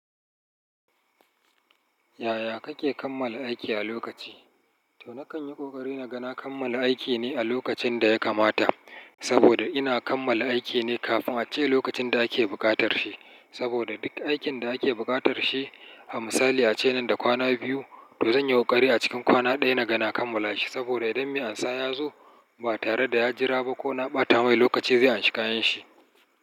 Yaya kake kammala aiki a lokaci? To na kan yi ƙoƙari na ga na kammala aiki ne a lokacin da ya kamata, saboda ina kammala aiki ne kafin a ce lokacin da ake buƙatar shi. Saboda duk aikin da ake buƙatar shi, a misali ace nan da kwana biyu, to zan yi ƙoƙari a cikin kwana ɗaya na ga na kammala shi saboda idan mai ansa ya zo ba tare da ya jira ba ko na ɓata mai lokaci zai anshi kayanshi.